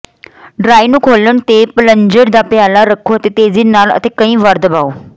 dry ਨੂੰ ਖੋਲ੍ਹਣ ਤੇ ਪਲੰਜਰ ਦਾ ਪਿਆਲਾ ਰੱਖੋ ਅਤੇ ਤੇਜ਼ੀ ਨਾਲ ਅਤੇ ਕਈ ਵਾਰ ਦਬਾਓ